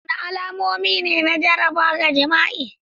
Wadanne alamomi ne na jaraba ga jima'i?